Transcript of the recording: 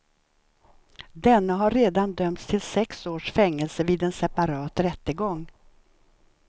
Denne har redan dömts till sex års fängelse vid en separat rättegång.